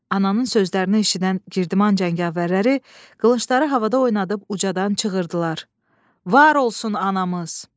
Ananın sözlərini eşidən Girdiman cəngavərləri qılıncları havada oynadıb ucadan çığırdılar: Var olsun anamız!